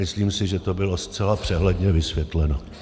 Myslím si, že to bylo zcela přehledně vysvětleno.